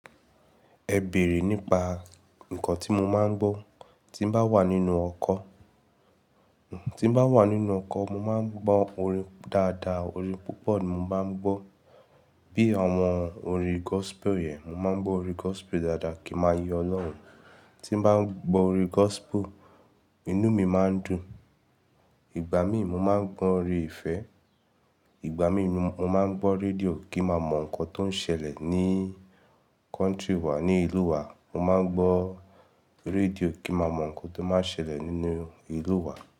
Ẹ bèrè nípa nǹkan tí mo máa ń gbọ́. Tí n bá wà nínú ọkọ̀–tí mo bá wà nínú ọkọ̀, mo máa ń gbọ́ orin dáadáa, orin púpọ̀ ni mo máa ń gbọ́. Bí i àwọn orin gospel yẹn, mo máa ń gbọ́ orin gospel dáadáa kí n máa yin Olórun. Tí n bá ń gbọ́ orin gospel, inú mi máa ń dùn. Ìgbà míì mo máa ń gbọ́ orin ìfẹ́. Ìgbà míì mo–mo máa ń gbọ́ rédíò kí n ma mọ nǹkan tó ń ṣẹlẹ̀ ní country wa, ní ìlú wa. Mo máa ń gbọ́ rédíò kí ma mọ̀ ǹkan tó máa ń ṣẹlẹ̀ nínú ìlú wa.